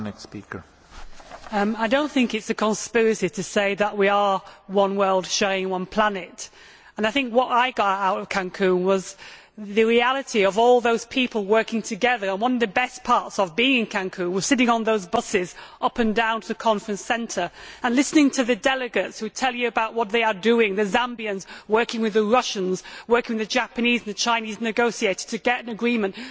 Mr President, I do not think it is a conspiracy to say that we are one world sharing one planet and I think what I got out of Cancún was the reality of all those people working together. One of the best parts of being in Cancún was sitting on those buses going to and from the conference centre and listening to the delegates who would tell you about what they are doing the Zambians working with the Russians working with the Japanese and the Chinese negotiator to get an agreement.